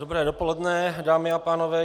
Dobré dopoledne, dámy a pánové.